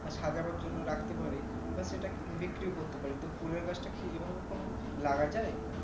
সাজানোর জন্য রাখতে পারি বা সেটা বিক্রিও করতে পারি তো ফুলের গাছটা কি এইভাবে কোনো লাগা যাই